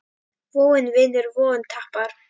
Vogun vinnur, vogun tapar.